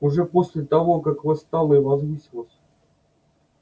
уже после того как восстала и возвысилась